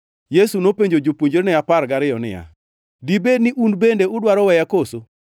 Yesu nopenjo jopuonjrene apar gariyo niya, “Dibed ni un bende udwaro weya koso?”